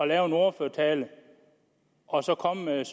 lave en ordførertale og komme med